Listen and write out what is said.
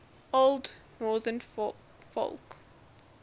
old northern folk